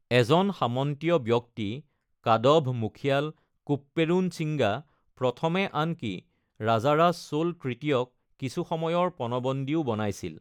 এজন সামন্তীয় ব্যক্তি, কাদভ মুখিয়াল কোপ্পেৰুঞ্চিঙ্গা প্ৰথমে আনকি ৰাজাৰাজ চোল তৃতীয়ক কিছু সময়ৰ পণবন্দীও বনাইছিল।